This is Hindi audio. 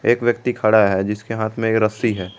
एक व्यक्ति खड़ा है जिसके हाथ में एक रस्सी है।